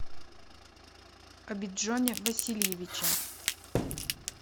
обиджоне васильевиче